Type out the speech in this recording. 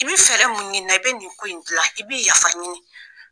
I bɛ fɛɛrɛ mun ɲini na i bɛ nin ko in dilan, i bɛ yafa ɲini.